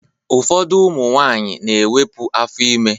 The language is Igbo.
Ụfọdụ ụmụ nwaanyị na-ewepu afọ ime